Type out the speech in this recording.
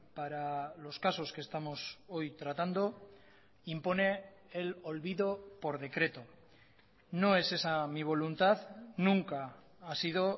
para los casos que estamos hoy tratando impone el olvido por decreto no es esa mi voluntad nunca ha sido